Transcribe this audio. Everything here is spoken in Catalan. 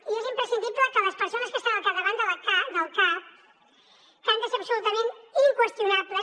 i és imprescindible que les persones que estan al capdavant del cac que han de ser absolutament inqüestionables